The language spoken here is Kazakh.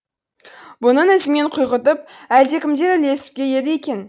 бұның ізімен құйғытып әлдекімдер ілесіп келеді екен